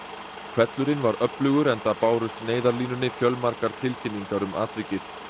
hvellurinn var öflugur enda bárust Neyðarlínunni fjölmargar tilkynningar um atvikið